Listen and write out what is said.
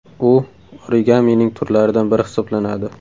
U origamining turlaridan biri hisoblanadi.